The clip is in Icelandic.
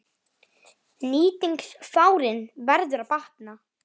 Nýting fjárins verður að batna.